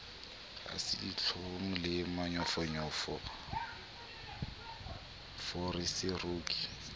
ha se ditlhong le manyofonyofoseroki